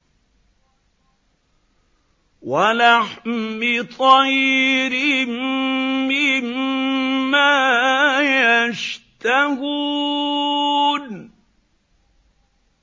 وَلَحْمِ طَيْرٍ مِّمَّا يَشْتَهُونَ